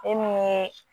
E min ye